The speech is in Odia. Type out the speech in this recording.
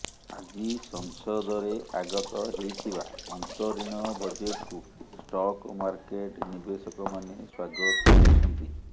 ଆଜି ସଂସଦରେ ଆଗତ ହେଇଥିବା ଅନ୍ତରୀଣ ବଜେଟକୁ ଷ୍ଟକ ମାର୍କେଟ ନିବେଶକମାନେ ସ୍ବାଗତ କରିଛନ୍ତି